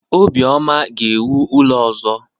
Obioma ga-ewu ụlọ ọzọ.